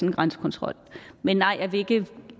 en grænsekontrol men nej jeg vil ikke